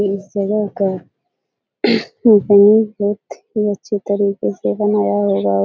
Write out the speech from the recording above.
इस जगह का बहुत ही अच्छी तरीके से बनाया होगा और --